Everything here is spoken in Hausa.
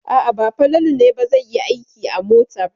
A'a, ba Falalu ne ba zai yi aiki a motar.